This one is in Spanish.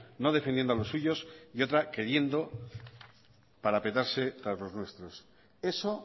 no defendiendo a los suyos y otra queriendo parapetarse tras los nuestros eso